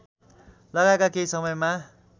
लगाएमा केही समयमा